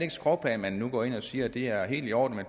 et skråplan at man nu går ind og siger at det er helt i orden at